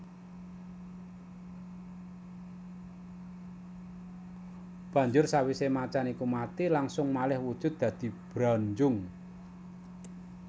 Banjur sawisé macan iku mati langsung malih wujud dadi Branjung